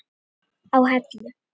á Hellu.